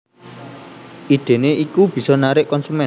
Idene iku bisa narik konsumen